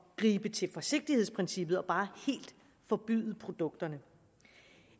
gribe til forsigtighedsprincippet og bare helt forbyde produkterne